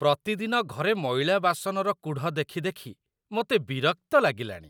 ପ୍ରତିଦିନ ଘରେ ମଇଳା ବାସନର କୁଢ଼ ଦେଖି ଦେଖି ମୋତେ ବିରକ୍ତ ଲାଗିଲାଣି।